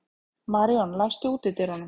Maríon, læstu útidyrunum.